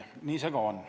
Nii see ka on.